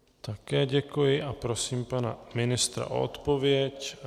Také děkuji a prosím pana ministra o odpověď.